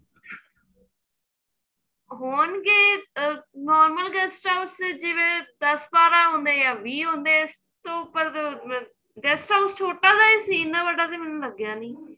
ਹੋਣਗੇ ਅਹ normal guest house ਚ ਜਿਵੇਂ ਦੱਸ ਬਾਰਾਂ ਹੁੰਦੇ ਏ ਵਿਹ ਹੁੰਦੇ ਏ ਇਸ ਤੋਂ ਵੱਧ guest house ਛੋਟਾ ਜਾ ਹੀ ਸੀ ਇੰਨਾ ਵੱਡਾ ਤਾਂ ਮੈਨੂੰ ਲੱਗਿਆ ਨੀਂ